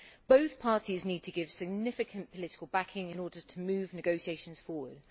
Both parties need to give significant political backing in order to move negotiations forward.